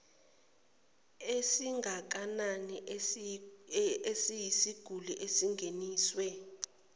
esingakanani eyisiguli esingeniswe